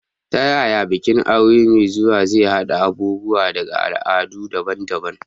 Ta yaya bikin aure mai zuwa zai haɗa abubuwa daga al'adu daban-daban?